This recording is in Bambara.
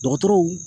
Dɔgɔtɔrɔw